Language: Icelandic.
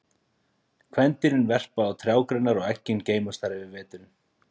Kvendýrin verpa á trjágreinar og eggin geymast þar yfir veturinn.